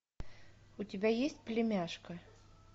у тебя есть племяшка